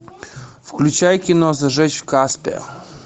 включай кино зажечь в касбе